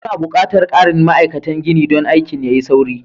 Muna buƙatar ƙarin ma'aikatan gini don aikin ya yi sauri.